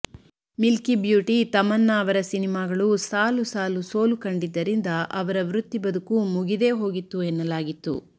Milky beauty Tamannaah ಅವರ ಸಿನಿಮಾಗಳು ಸಾಲು ಸಾಲು ಸೋಲು ಕಂಡಿದ್ದರಿಂದ ಅವರ ವೃತ್ತಿ ಬದುಕು ಮುಗಿದೇ ಹೋಗಿತ್ತು ಎನ್ನಲಾಗಿತ್ತು